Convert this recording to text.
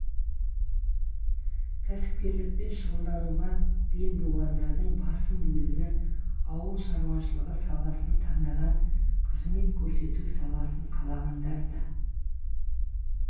кәсіпкерлікпен шұғылдануға бел буғандардың басым бөлігі ауыл шаруашылығы саласын таңдаған қызмет көрсету саласын қалағандар да